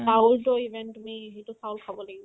চাউল টো even তুমি সেইটো চাউল খাব লাগিব